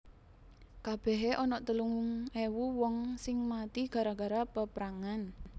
Kabehe onok telung ewu wong sing mati gara gara peprangan